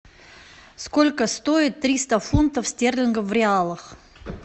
сколько стоит триста фунтов стерлингов в реалах